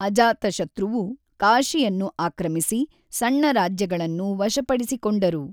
ಅಜಾತಶತ್ರುವು ಕಾಶಿಯನ್ನು ಆಕ್ರಮಿಸಿ ಸಣ್ಣ ರಾಜ್ಯಗಳನ್ನು ವಶಪಡಿಸಿಕೊಂಡರು.